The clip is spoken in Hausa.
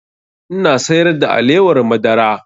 Ina sayar da alewar madara